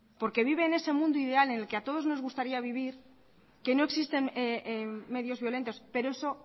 porque vive en ese mundo ideal en el que a todos nos gustaría vivir que no existen medios violentos pero eso